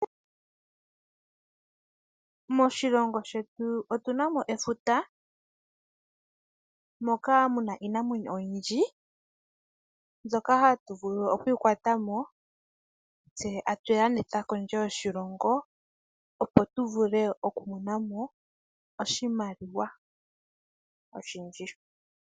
Moshilongo shetu otunamo efuta moka muna iinamwenyo oyindji mbyoka hatu vulu okukwatamo tse tatuyi landitha kondje yoshilongo opp tuvule okumonamo oshimaliwa oshindji.